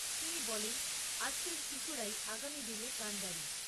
তিনি বলেন, আজকের শিশুরাই আগামী দিনের কাণ্ডারী।